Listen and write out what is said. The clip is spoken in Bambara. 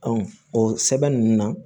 o sɛbɛn ninnu na